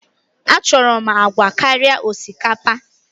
Achọrọ m agwa karịa osikapa!